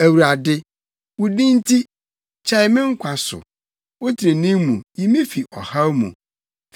Awurade, wo din nti, kyɛe me nkwa so; wo trenee mu, yi me fi ɔhaw mu.